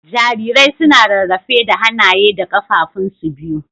Jarirai suna rarrafe da hanaye da kafafun su biyu.